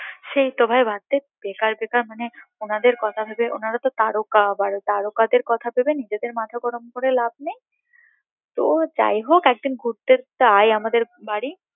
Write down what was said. সেই তো ভাই বাদ দে বেকার বেকার মানে ওনাদের কথা ভেবে ওনারা তো তারকা আবার তারকা দের কথা ভেবে নিজেদের মাথা গরম করে লাভ নেই তো যাই হোক এক দিন ঘুরতে আই আমাদের বাড়ি